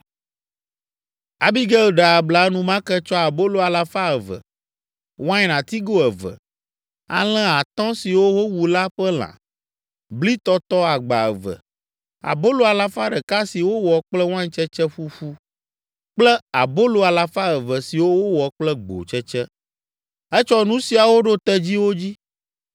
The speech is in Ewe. Abigail ɖe abla enumake, tsɔ abolo alafa eve (200), wain atigo eve, alẽ atɔ̃ siwo wowu la ƒe lã, bli tɔtɔ agba eve, abolo alafa ɖeka si wowɔ kple waintsetse ƒuƒu kple abolo alafa eve siwo wowɔ kple gbotsetse. Etsɔ nu siawo ɖo tedziwo dzi.